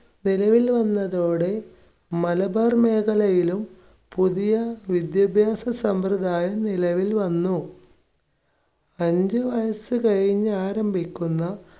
നിലവിൽ വന്നതോടെ മലബാർ മേഖലയിലും പുതിയ വിദ്യാഭ്യാസ സമ്പ്രദായം നിലവിൽ വന്നു. അഞ്ച് വയസ്സ് കഴിഞ്ഞ് ആരംഭിക്കുന്ന